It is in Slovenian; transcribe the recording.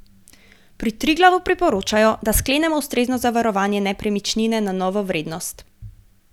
Pri Triglavu priporočajo, da sklenemo ustrezno zavarovanje nepremičnine na novo vrednost.